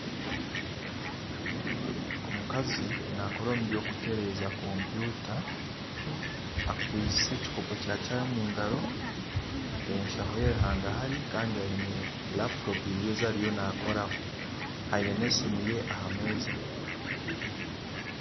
Omukazi nakora omu by'okuteereza kompyuta akwaitse ekikopo kya chayi omu ngaro enshaho ye erihangahari Kandi aine laputopu ibiri ezi ariyo nakoraho aine n'esimu ye aha meeza